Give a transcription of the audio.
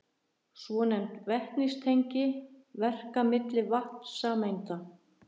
Svonefnd vetnistengi verka milli vatnssameinda.